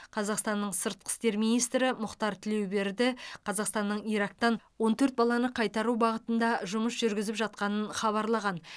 қазақстанның сыртқы істер министрі мұхтар тілеуберді қазақстанның ирактан он төрт баланы қайтару бағытында жұмыс жүргізіп жатқанын хабарлаған